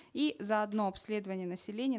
и заодно обследование населения